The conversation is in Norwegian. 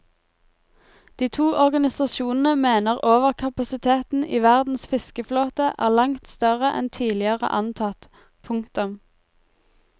De to organisasjonene mener overkapasiteten i verdens fiskeflåte er langt større enn tidligere antatt. punktum